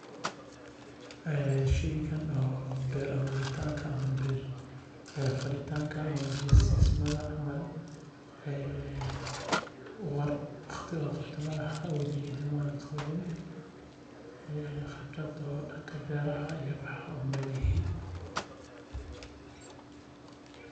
Sheygan beer aburitanka ama falitaanka ama biya siismaha ah weli maqabanin khibrad uma lihi.